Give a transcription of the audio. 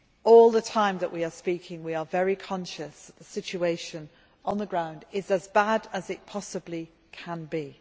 All the time that we are speaking, we are very conscious that the situation on the ground is as bad as it possibly can be.